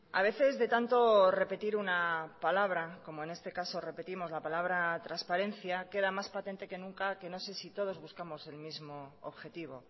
a veces de tanto repetir una palabra como en este caso repetimos la palabra transparencia queda más patente que nunca que no sé si todos buscamos el mismo objetivo